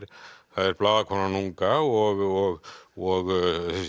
er blaðakonan unga og og